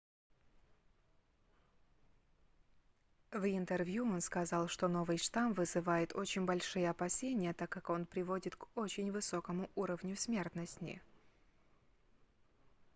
в интервью он сказал что новый штамм вызывает очень большие опасения так как он приводит к очень высокому уровню смертности